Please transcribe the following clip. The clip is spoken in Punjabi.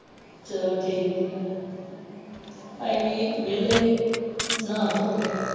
ਚੱਲੋ ਠੀਕ ਹੈ ਅਸੀਂ ਵੀ ਵੇਲੇ ਸੀ ਨਾਹ ਧੋ ਕੇ।